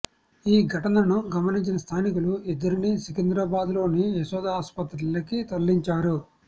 ఈ ఘటనను గమనించిన స్థానికులు ఇద్దరిని సికింద్రాబాద్లోని యశోదా ఆస్పత్రికి తరలించారు